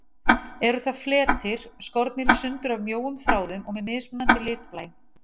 Eru það fletir, skornir í sundur af mjóum þráðum og með mismunandi litblæ.